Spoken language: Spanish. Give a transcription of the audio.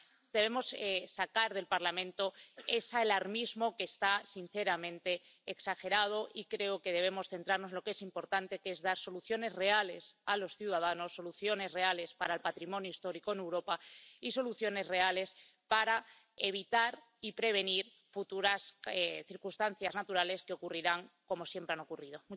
Debemos sacar del Parlamento ese alarmismo que está, sinceramente, exagerado y creo que debemos centrarnos en lo que es importante, que es dar soluciones reales a los ciudadanos, soluciones reales para el patrimonio histórico en Europa, y soluciones reales para evitar y prevenir futuras circunstancias naturales que ocurrirán, como siempre han ocurrido.